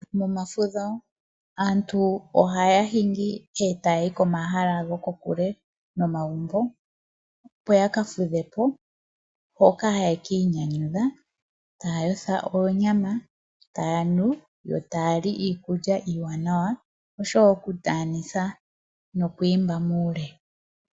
Momafudho aantu ohaya hingi etayayi komahala gokokule nomagumbo, opo yaka fudhepo, mpoka haye kiinyanyudha, taya yotha oonyama , taya nu , yo taya li iikulya iiwanawa oshowoo okundaanisa nokwiimba muule.